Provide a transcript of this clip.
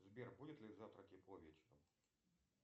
сбер будет ли завтра тепло вечером